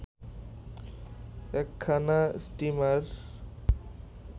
একখানা স্টিমার